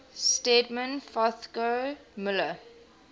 stedman fagoth muller